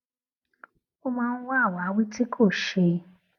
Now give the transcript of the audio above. ó máa ń wá àwáwí tí kò ṣe